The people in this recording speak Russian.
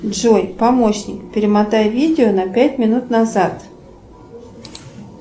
джой помощник перемотай видео на пять минут назад